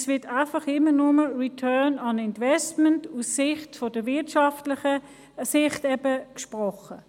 Es wird immer nur über «Return on Investment» aus wirtschaftlicher Sicht gesprochen.